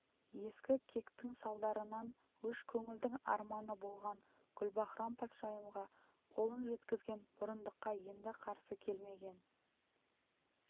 ескі кектің салдарынан өш көңілдің арманы болған гүлбаһрам-патшайымға қолын жеткізген бұрындыққа енді қарсы келмеген